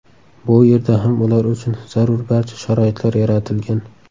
Bu yerda ham ular uchun zarur barcha sharoitlar yaratilgan.